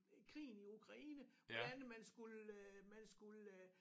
Krigen i Ukraine hvordan man skulle man skulle